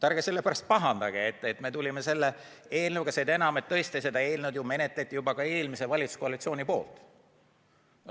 Ärge sellepärast pahandage, et me tulime selle eelnõuga, seda enam, et tõesti seda eelnõu ju menetleti ka eelmise valitsuskoalitsiooni ajal.